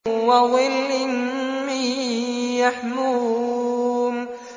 وَظِلٍّ مِّن يَحْمُومٍ